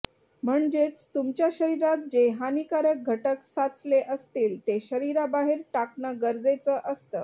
म्हणजेच तुमच्या शरीरात जे हानीकारक घटक साचले असतील ते शरीराबाहेर टाकणं गरजेचं असतं